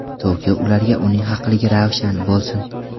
Toki ularga Uning haqligi ravshan bo‘lsin.